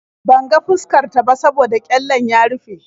Ban ga fuskar ta ba saboda ƙyallen ya rufe.